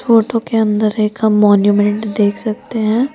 Photo के अंदर एक हम देख सकते हैं।